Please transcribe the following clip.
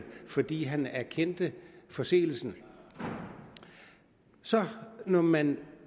fordi han erkendte forseelsen så når man